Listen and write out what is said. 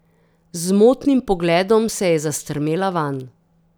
Z motnim pogledom se je zastrmela vanj.